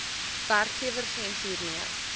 werkgewer gems hiermee